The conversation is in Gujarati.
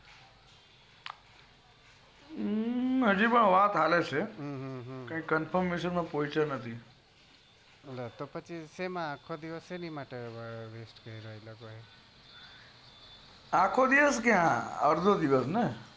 હમ્મ હજી વાત ચાલે છે કૈક confirmation માં પોયચો નથી લે તો પછી આખો દિવસ કેમ નાખ્યો પછી આખો દિવસ ક્યાં અર્ધો દિવસ